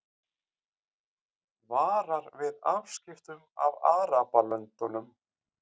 Varar við afskiptum af Arabalöndum